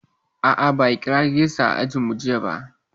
A'a, ba a kira rejista a ajinmu jiya ba.